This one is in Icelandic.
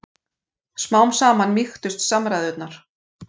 Smám saman mýktust samræðurnar.